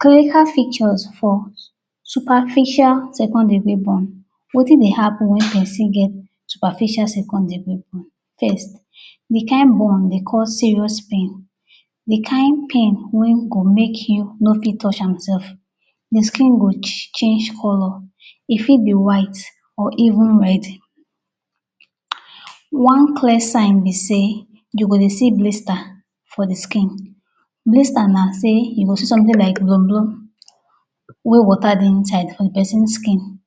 Kanya feature for superficial second degree burn. Wetin dey happen wen person get superficial second degree burn?. First de kain burn dey cause serious pain, de kain pain wey go make you no fit touch am sef. De skin go change colour, e fit be white or even red. One clear sign be sey you go dey see blister for de skin. Blister na sey you go dey see something like blom blom wey water dey inside for person skin.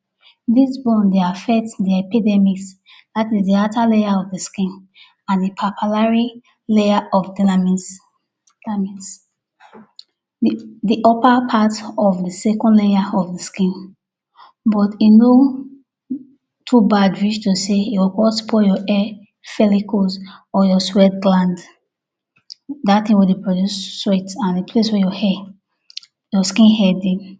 Dis burn dey affect de epidermis dat is de outer layer of de skin and papillary layer of dermis dermis de de upper part of de second layer of de skin but e no too bad reach to sey you go come spoil your hair follicles or your sweat gland, dat thing wey dey produce sweat and de place wey your hair your skin hair dey.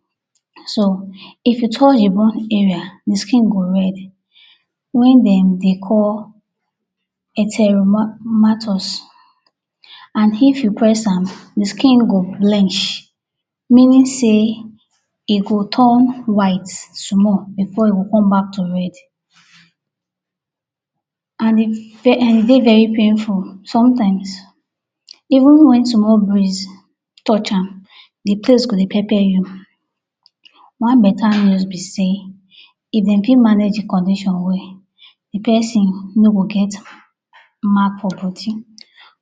So if you touch de burn area dey skin go red where dem dey call Erythema and if you press am de skin go blench meaning sey e go turn white small before e go come back to red and e dey very painful. Somethings even wen small breeze touch am de place go dey pepper you. One better news be sey if dem fit manage de condition well de person no go get mark for body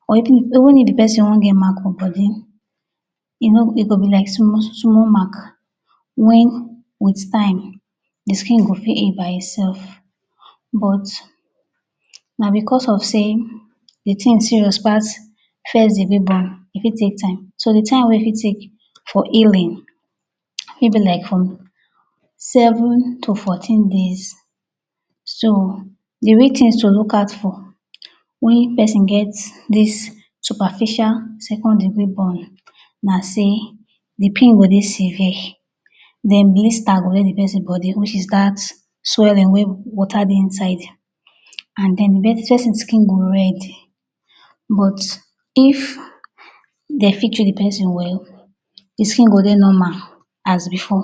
or even if even if de person wan get mark for body e no e go be like small small mark wen wit time de skin go fit heal by itself but na because of sey de thing serious pass first degree burn, e fit take time. So de time wey e fit take for healing fit be like from seven to fourteen days. So de real things to look out for wen person get this superficial second degree burn na sey de pain go dey severe. Den blister go dey de person body which is dat swelling wey water dey inside and den person skin go red but if dey fit treat person well de skin go dey normal as before.